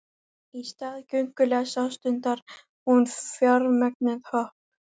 Í stað göngulags ástundar hún fjaðurmögnuð hopp.